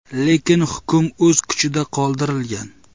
Lekin hukm o‘z kuchida qoldirilgan.